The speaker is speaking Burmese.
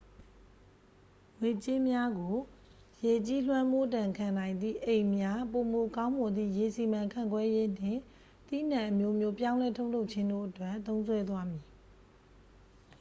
ငွေကြေးများကို ရေကြီးလွှမ်းမိုးဒဏ်ခံနိုင်သည့် အိမ်များ ပိုမိုကောင်းမွန်သည့် ရေစီမံခန့်ခွဲရေးနှင့် သီးနှံအမျိုးမျိုးပြောင်းလဲထုတ်လုပ်ခြင်းတို့အတွက် သုံးစွဲသွားမည်